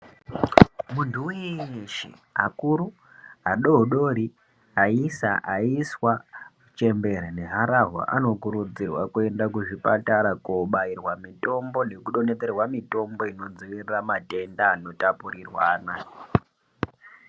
Muntu weshe akuru adodori aisa aiswa chembere neharahwa ano kurudzirwa kuenda kuzvipatara kobairwa mitombo neku donhedzerwa mitombo inodzivirira matenda anot apurirwana.